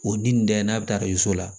O dun da in n'a bɛ taa i so la